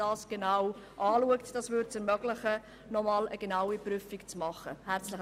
Dies würde eine genaue Prüfung ermöglichen.